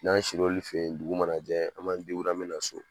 N'an sir'olu fɛ yen dugu manajɛ an ma an mina so